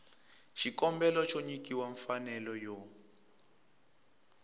xikombelo xo nyikiwa mfanelo yo